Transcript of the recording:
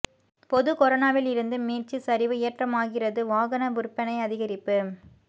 பொது கொரோனாவில் இருந்து மீட்சி சரிவு ஏற்றமாகிறது வாகன விற்பனை அதிகரிப்பு